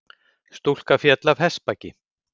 Stúlka féll af hestbaki